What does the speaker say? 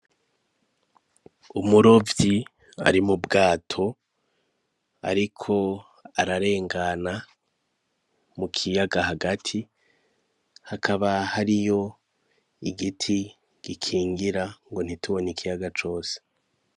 Umurovyi ari mu bwato ariko ararengana mu kiyaga hagati hakaba hariyo igiti gikingira ngo ntitubone ikiyaga cose.